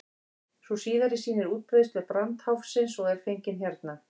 sú síðari sýnir útbreiðslu brandháfsins og er fengin hérna